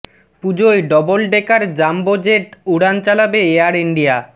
পুজোয় double decker jumbo jet উড়ান চালাবে এয়ার ইন্ডিয়া